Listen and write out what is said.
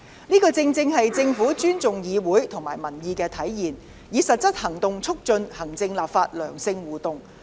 這正是政府尊重議會和民意的體現，以實際行動促進行政立法的良性互動。